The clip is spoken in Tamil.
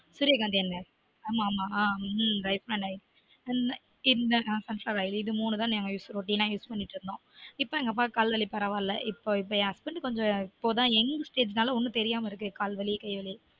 சூரிய காந்தி எண்ணெய் ஆமா ஆமா ஹம் refined oil இது மூனும் தான் use இது மூனும் தான் எங்க வீட்டுல routineuse பண்ணிட்டுருந்தொம் இப்ப எங்க அப்பாக்கு கால் வலி பரவாயில்ல இப்ப என் husband வந்து young stage நால ஒன்னும் தெரிய மாடிக்குது கால் வலி கை வலி